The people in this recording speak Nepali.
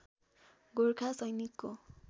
गोरखा सैनिकको